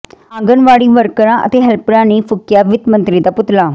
ਆਂਗਣਵਾੜੀ ਵਰਕਰਾਂ ਅਤੇ ਹੈਲਪਰਾਂ ਨੇ ਫੂਕਿਆ ਵਿੱਤ ਮੰਤਰੀ ਦਾ ਪੁਤਲਾ